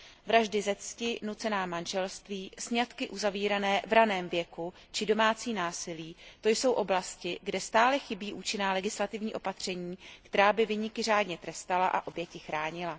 Vraždy ze cti, nucená manželství, sňatky uzavírané v ranném věku či domácí násilí, to jsou oblasti, kde stále chybí účinná legislativní opatření, která by viníky řádně trestala a oběti chránila.